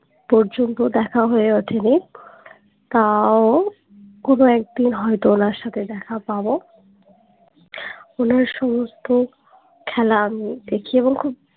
পর্যন্ত দেখা হয়ে ওঠেনি তাও কোনো একদিন হয়তো ওনার সাথে দেখা পাবো ওনার সমস্ত খেলা আমি দেখি এবং খুব